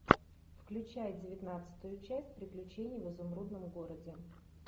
включай девятнадцатую часть приключений в изумрудном городе